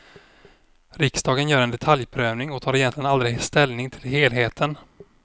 Riksdagen gör en detaljprövning och tar egentligen aldrig ställning till helheten.